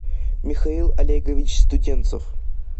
михаил олегович студенцев